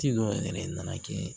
Ci dɔw yɛrɛ nana kɛ